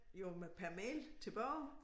Jo med per mail tilbage